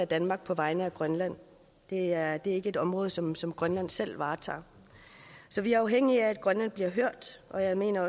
danmark på vegne af grønland det er ikke et område som som grønland selv varetager så vi er afhængige af at grønland bliver hørt og jeg mener